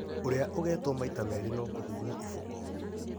Ũrĩa ũgetwo maita merĩ no kũhũrwo iboko.